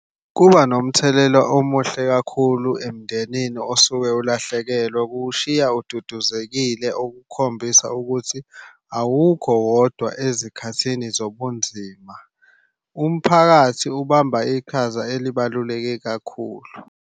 Kuba nomthelela omuhle kakhulu emndenini osuke ulahlekelwe. Kuwushiya ududuzekile okukhombisa ukuthi awukho wodwa ezikhathini zobunzima. Umphakathi ubamba iqhaza elibaluleke kakhulu.